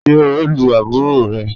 Ṣe o lu aburo rẹ?